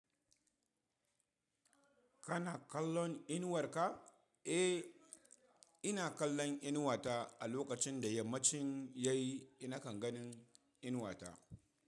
Kana kallon inuwar ka? Eh, ina kallon inuwata a lokacin da yammacin ya yi, na kan ganin inuwata.